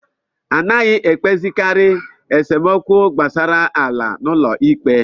Anaghị ekpezikari esemokwu gbasara ala n'ụlọ ikpe.